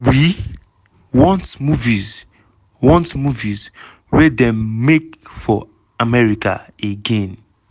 "we want movies want movies wey dem make for america again!"